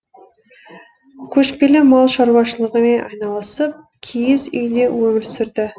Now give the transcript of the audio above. көшпелі мал шаруашылығымен айналысып киіз үйде өмір сүрді